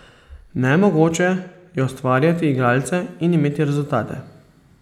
Nemogoče je ustvarjati igralce in imeti rezultate.